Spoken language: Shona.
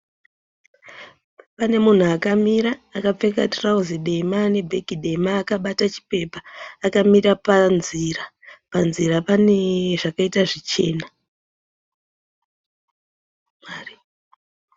Pane munhu akamira akapfeka tirauzi dema ane bhegi dema akabata chipepa. Akamira panzira. Panzira pane zvakaita zvichena.